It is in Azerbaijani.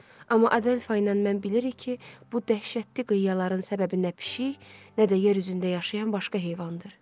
Amma Adelfa ilə mən bilirik ki, bu dəhşətli qıyaların səbəbi nə pişik, nə də yer üzündə yaşayan başqa heyvandır.